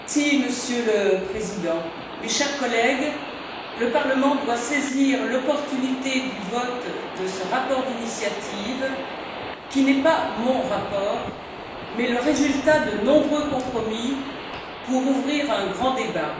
Monsieur le Président, mes chers collègues, le Parlement doit saisir l'opportunité du vote de ce rapport d'initiative, qui n'est pas mon rapport mais le résultat de nombreux compromis, pour ouvrir un grand débat.